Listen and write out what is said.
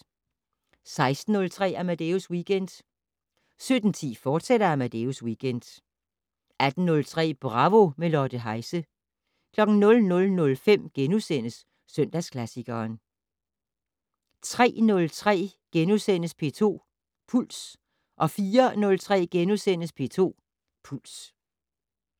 16:03: Amadeus Weekend 17:10: Amadeus Weekend, fortsat 18:03: Bravo - med Lotte Heise 00:05: Søndagsklassikeren * 03:03: P2 Puls * 04:03: P2 Puls *